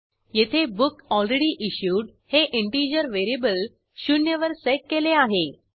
येथे बुकलरेडीइश्युड हे integer variable 0 वर सेट केले आहे